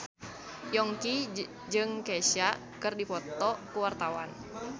Yongki jeung Kesha keur dipoto ku wartawan